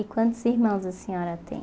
E quantos irmãos a senhora tem?